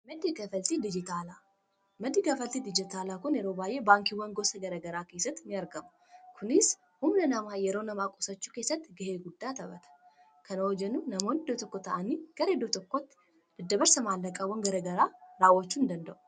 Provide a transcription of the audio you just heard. Madii kafaltii dijitaala kun yeroo bay'ee baankiiwwan gosa gara gara keesatti ni argamu kunis humna namaa yeroo namaa qusachu keessatti gahe guddaa taphata kana yoo jennuu namoon iddoo tokko ta'ani gara iddoo tokkotti daddabarsa mallaqawan gara garaa raawwachuu ni danda'u.